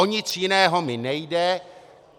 O nic jiného mi nejde.